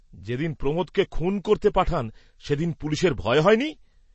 যে দিন প্রমোদকে খুন করতে পাঠান, সেদিন পুলিষের ভয় হয় নি?